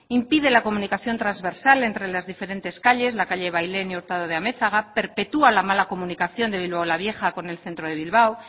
impide la comunicación trasversal entre las diferentes calles la calle bailén y hurtado de amezaga perpetúa la mala comunicación de bilbao la vieja con el centro de bilbao